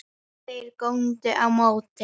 Þeir góndu á móti.